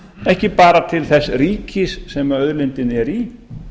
ekki bara til þess ríkis sem auðlindin er í